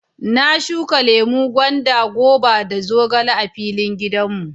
Na shuka lemu, gwanda, goba da zogale a filin gidan mu.